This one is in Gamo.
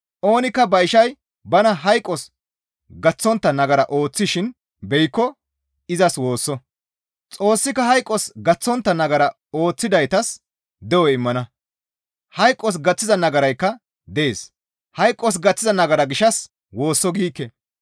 Oonikka ba ishay bana hayqos gaththontta nagara ooththishin beyikko izas woosso; Xoossika hayqos gaththontta nagara ooththidaytas de7o immana; hayqos gaththiza nagaraykka dees; hayqos gaththiza nagara gishshas woosso giikke.